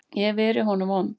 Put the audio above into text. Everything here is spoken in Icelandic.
Ég hef verið honum vond.